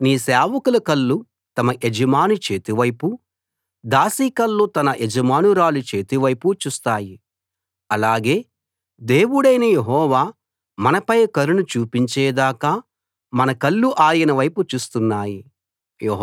సేవకుల కళ్ళు తమ యజమాని చేతి వైపు దాసి కళ్ళు తన యజమానురాలి చేతి వైపు చూస్తాయి అలాగే దేవుడైన యెహోవా మనపై కరుణ చూపించేదాకా మన కళ్ళు ఆయనవైపు చూస్తున్నాయి